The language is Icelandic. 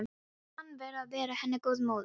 Og að henni ber að vera henni góð móðir.